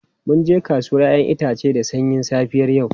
Mun je kasuwar 'ya'yan itace da sanyin safiyar yau.